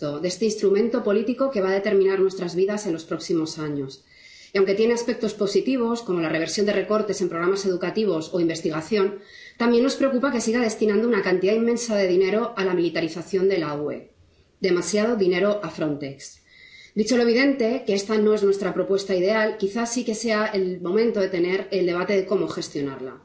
Señor presidente, nos acercamos a la recta final de este presupuesto, de este instrumento político que va a determinar nuestras vidas en los próximos años. Y, aunque tiene aspectos positivos, como la reversión de recortes en programas educativos o investigación, también nos preocupa que siga destinando una cantidad inmensa de dinero a la militarización de la UE, demasiado dinero a Frontex. Dicho lo evidente, que esta no es nuestra propuesta ideal, quizás sí que sea el momento de tener el debate de cómo gestionarla.